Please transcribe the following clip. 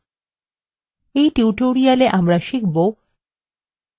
in tutorialwe আমরা শিখবো কিভাবে :